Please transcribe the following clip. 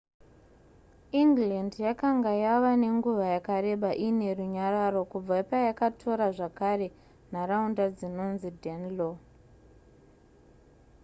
england yakanga yava nenguva yakareba iine runyararo kubva payakatora zvakare nharaunda dzinonzi danelaw